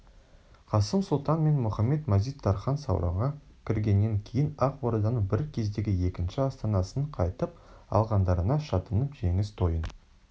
қасым сұлтан мен мұхамед-мазит-тархан сауранға кіргеннен кейін ақ орданың бір кездегі екінші астанасын қайтып алғандарына шаттанып жеңіс тойын